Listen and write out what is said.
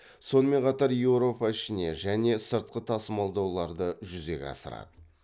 сонымен қатар еуропа ішіне және сыртқы тасылмалдауларды жүзеге асырады